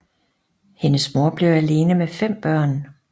Hendes mor blev alene med fem børn